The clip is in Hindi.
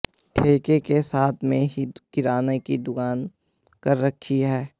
ठेके के साथ में ही किराना की भी दुकान कर रखी है